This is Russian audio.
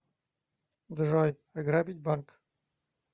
джой ограбить банк